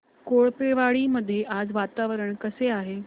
कोळपेवाडी मध्ये आज वातावरण कसे आहे